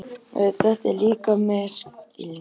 Þetta er líka misskilningur.